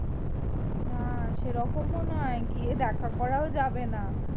না সেরকমও নয় গিয়ে দেখা করাও যাবে না।